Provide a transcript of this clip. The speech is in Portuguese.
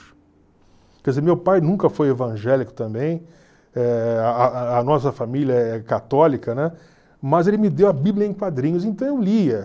Quer dizer, meu pai nunca foi evangélico também, eh a a a nossa família é católica, né, mas ele me deu A Bíblia em Quadrinhos, então eu lia.